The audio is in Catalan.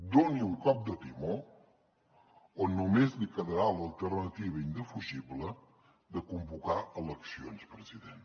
doni un cop de timó o només li quedarà l’alternativa indefugible de convocar eleccions president